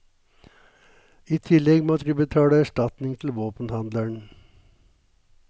I tillegg måtte de betale erstatning til våpenhandleren.